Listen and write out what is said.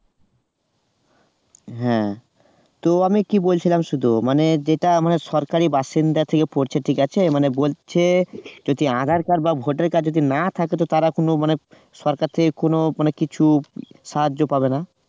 হ্যাঁ তো আমি কি বলছিলাম শুধু মানে যেটা আমাদের সরকারি বাসিন্দা থেকে করছে ঠিক আছে? মানে বলছে যদি আধার card বা ভোটার card না থাকে তো তারা কোন মানে সরকার থেকে কোন মানে কিছু সাহায্য পাবে না